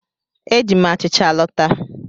Eji m achịcha lọta.